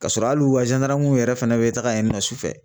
Ka sɔrɔ hali u ka yɛrɛ fɛnɛ bɛ taga yen nɔ sufɛ